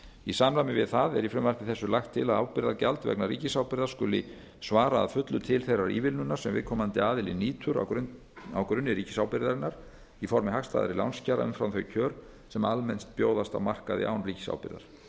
í samræmi við það er í frumvarpi þessu lagt til að ábyrgðargjald vegna ríkisábyrgðar skuli svara að fullu til þeirrar ívilnunar sem viðkomandi aðili nýtur á grunni ríkisábyrgðarinnar í formi hagstæðari lánskjara umfram þau kjör sem almennt bjóðast á markaði án ríkisábyrgðar